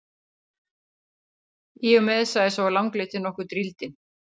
Í og með, sagði sá langleiti, nokkuð drýldinn.